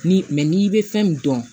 Ni n'i bɛ fɛn min dɔn